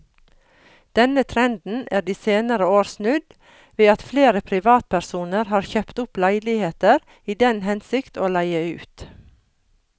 Denne trenden er de senere år snudd ved at flere privatpersoner har kjøpt opp leiligheter i den hensikt å leie ut.